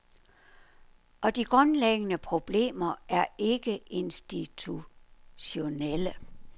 Og de grundlæggende problemer er ikke institutionelle.